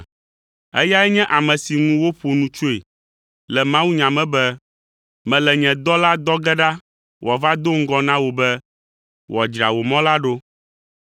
Eyae nye ame si ŋu woƒo nu tsoe le mawunya me be, “ ‘Mele nye dɔla dɔ ge ɖa wòava do ŋgɔ na wò be, wòadzra wò mɔ la ɖo.’